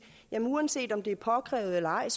uanset om det er påkrævet eller ej